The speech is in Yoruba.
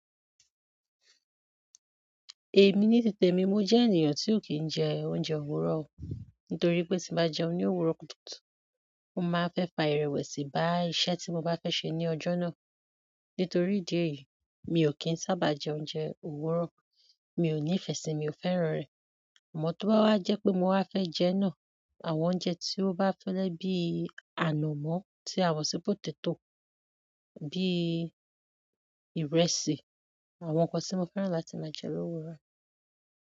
Èmi ní titè mi, mo jẹ́ ènìyàn tí ò kí ń jẹ oúnjẹ òwúrọ̀. Nítorí pé tí bá jẹun ní òwúrọ̀ kutúkutù, o máa nnfẹ́ fa ìrẹ̀wẹ̀sì bá iṣẹ́ tí mo bá fẹ́ ṣe ní ọjọ́ náà. Nítorí ìdí èyí, mi ò kí ń sábà jẹ oúnjẹ òwúrọ̀. Mi ò ní ìfẹ́ síi, mi ò fẹ́ràn rẹ̀. Amọ tó bá wá jẹ́ pé mo wá fẹ́ jẹ́ náà, àwọn oúnjẹ tí ó bá fẹ́lẹ́ bí i ànàmọ́ tí àwọ̀ ṣí potato, bíi ìrẹsì, àwọn nǹkan tí mo fẹ́ràn láti máa jẹ lowúrọ̀.